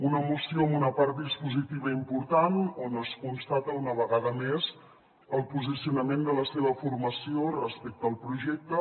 una moció amb una part dispositiva important on es constata una vegada més el posicionament de la seva formació respecte al projecte